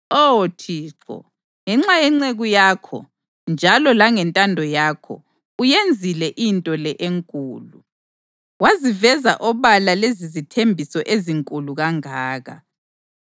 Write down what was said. Oh Thixo. Ngenxa yenceku yakho, njalo langentando yakho, uyenzile into le enkulu, waziveza obala lezizithembiso ezinkulu kangaka.